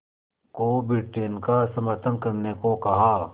को ब्रिटेन का समर्थन करने को कहा